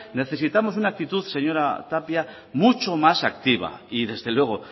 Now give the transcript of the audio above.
necesitamos una actitud señora tapia mucho más activa y desde luego